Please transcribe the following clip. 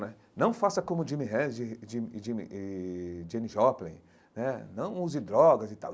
Né não faça como Jimi Hendrix Jim e Jimi e Jenny Joplin né, não use drogas e tal.